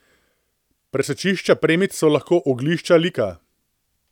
Presečišča premic so lahko oglišča lika.